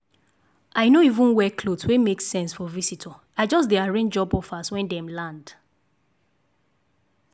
i no even wear cloth wey make sense for visitor i just dey arrange job offers when dem land.